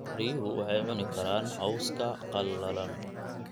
Riyuhu waxay cuni karaan cawska qallalan.